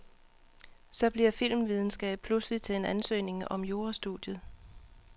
Så bliver filmvidenskab pludselig til en ansøgning om jurastudiet.